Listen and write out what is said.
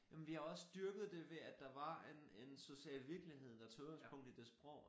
Jamen vi har også dyrket det ved at der var en en social virkelig der tog udgangspunkt i det sprog